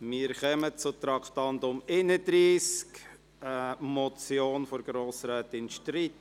Wir kommen zum Traktandum 31, die Motion von Grossrätin Streit: